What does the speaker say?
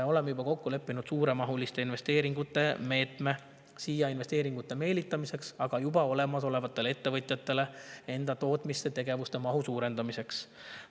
Oleme juba kokku leppinud suuremahuliste investeeringute meetme investeeringute siia meelitamiseks ja juba olemasolevatele ettevõtjatele enda tootmistegevuse mahu suurendamiseks.